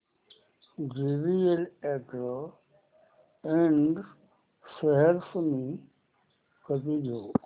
JVL agro Ind shares मी कधी घेऊ